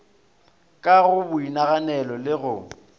ka go boinaganelo le go